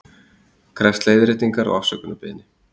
Krefst leiðréttingar og afsökunarbeiðni